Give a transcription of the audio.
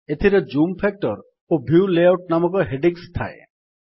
ଏଥିରେ zoom factor ଓ view layout ନାମକ ହେଡିଙ୍ଗ୍ସ ଥାଏ